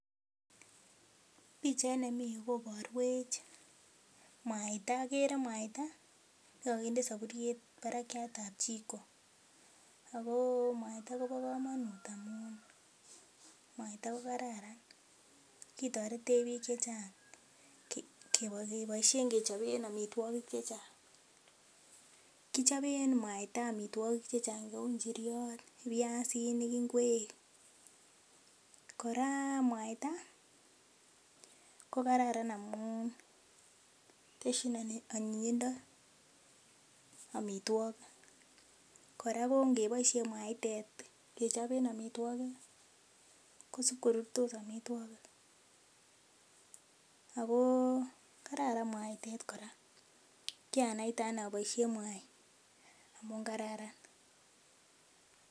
Pichait nemii ireyu koborwech mwaita okere mwaita nekokinde soburiet barakiatab jiko ak ko mwaita kobokomonut amun mwaita ko kararan, kitoretech biik chechang keboishen kechoben amitwokik chechang, kichoben mwaita amitwokik chechang cheu njiriot, biasinik, ing'wek, kora mwaita ko kararan amun teshin anyinyindo amitwokik, kora ko ng'eboishen mwaitet kechoben amitwokik kosib korutu amitwokik ak ko kararan mwaitet kora, kiranaite anee aboishen mwaii amun kararan.